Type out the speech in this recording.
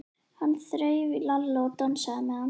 Hann þreif í Lalla og dansaði með hann.